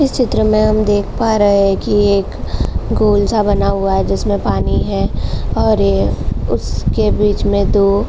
इस चित्र में हम देख पा रहे हैं कि एक गोल सा बना हुआ है जिसमें पानी है और यह उसके बीच में दो --